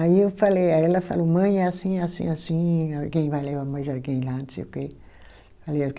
Aí eu falei, aí ela falou, mãe, é assim, assim, assim, alguém vai levar mais alguém lá, não sei o quê.